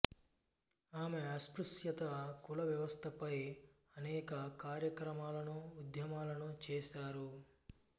ఆమె అస్పృస్యత కుల వ్యవస్థ పై అనెక కార్యక్రమాలను ఉద్యమాలను చేసారు